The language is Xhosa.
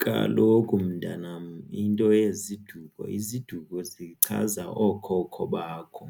Kaloku, mntanam, into yeziduko iziduko zichaza okhokho bakho.